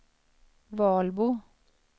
Valbo